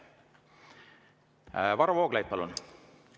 Varro Vooglaid, palun!